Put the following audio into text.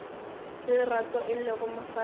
le lerato e lego mosadi